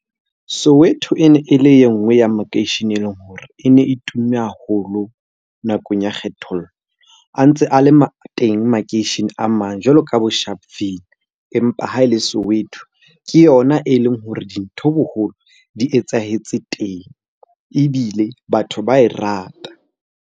Soweto e ne e le e nngwe ya makeishene e leng hore e ne e tumme haholo nakong ya kgethollo. A ntse a le teng makeishene a mang jwalo ka ka bo Sharpville, empa ha e le Soweto ke yona e leng hore dintho boholo di etsahetse teng ebile batho ba e rata.